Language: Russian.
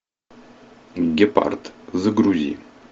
гепард загрузи